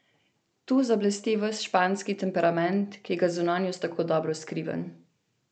Tu zablesti ves španski temperament, ki ga zunanjost tako dobro skriva.